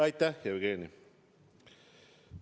Aitäh, Jevgeni!